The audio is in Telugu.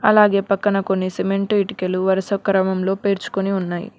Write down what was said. అలాగే పక్కన కొన్ని సిమెంటు ఇటెకలు వరుస క్రమంలో పేర్చుకొని వున్నాయి.